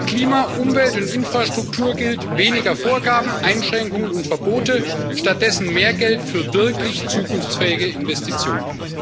Bei Klima, Umwelt und Infrastruktur gilt Weniger Vorgaben, Einschränkungen und Verbote, stattdessen mehr Geld für wirklich zukunftsfähige Investitionen.